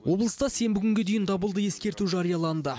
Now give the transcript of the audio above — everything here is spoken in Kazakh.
облыста сенбі күнге дейін дабылды ескерту жарияланды